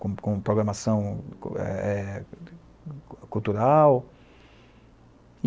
com com programação eh, cultural.